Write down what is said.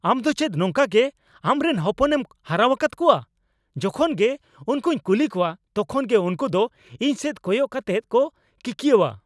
ᱟᱢ ᱫᱚ ᱪᱮᱫ ᱱᱚᱝᱠᱟᱜᱮ ᱟᱢᱨᱮᱱ ᱦᱚᱯᱚᱱᱮᱢ ᱦᱟᱨᱟᱣᱟᱠᱟᱫ ᱠᱚᱣᱟ ? ᱡᱚᱠᱷᱚᱱ ᱜᱮ ᱩᱝᱠᱩᱧ ᱠᱩᱞᱤ ᱠᱚᱣᱟ ᱛᱚᱠᱷᱚᱱ ᱜᱮ ᱩᱝᱠᱩ ᱫᱚ ᱤᱧ ᱥᱮᱡ ᱠᱚᱭᱚᱜ ᱠᱟᱛᱮᱫ ᱠᱚ ᱠᱤᱠᱭᱟᱹᱣᱟ ᱾